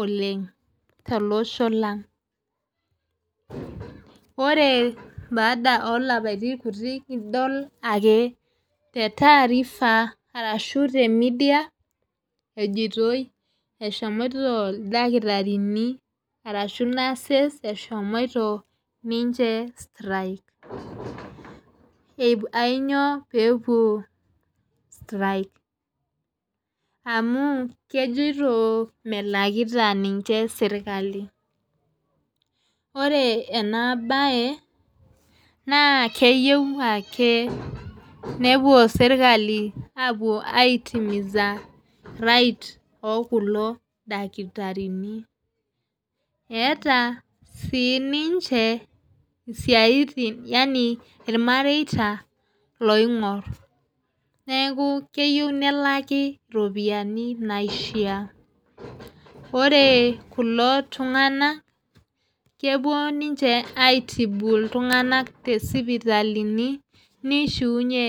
oleng' to losho lang'. Ore baada oo lapaitin kutik idol ake tee taarifa arashu te media ejoitoi eshomoito ildakitarini arashu nurses eshomoito ninche strike. Ainyoo pee epuo strike? Amu kejoito melakita ninche serikali. Ore ena bae naa keyou ake nepuo serikali apuo ai timiza right oo kulo dakitarini. Etaa sii ninche isaitin yaani irmareta loing'or , neeku keyeu nelaki iropiani naishaa. Ore kulo tung'ana kepuo ninche ai tibu iltung'ana tesipitalini nishiunye.